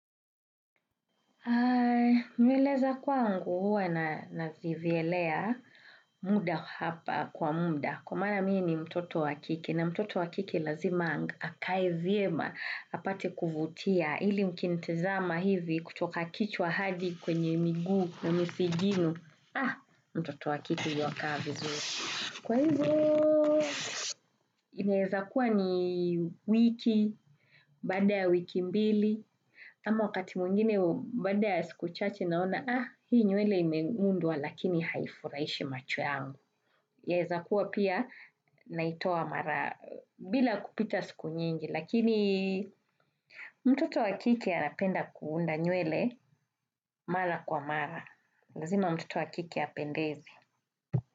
Nywele za kwangu huwa nazivyelea muda hapa kwa muda. Kwa maana mi ni mtoto wa kike na mtoto wa kike lazima akae vyema apate kuvutia ili ukinitizama hivi kutoka kichwa hadi kwenye miguu na misigino. Ah, mtoto wa kike yuwakaa vizuri. Kwa hizo, inaezakuwa ni wiki, baada ya wiki mbili. Ama wakati mwingine baada ya siku chache naona ah hii nywele imeundwa lakini haifurahishi macho yangu. Yaeza kuwa pia naitoa mara bila kupita siku nyingi lakini mtoto wa kike anapenda kuunda nywele mara kwa mara. Lazima mtoto wa kike apendeze.